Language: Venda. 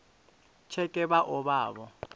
tsheke vha o vha vho